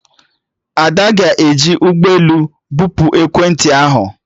Ada ga-eji ụgbọelu bupu ekwentị ahụ